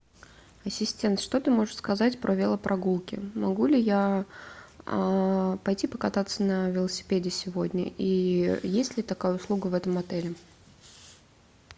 ассистент что ты можешь сказать про велопрогулки могу ли я пойти покататься на велосипеде сегодня и есть ли такая услуга в этом отеле